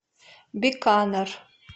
биканер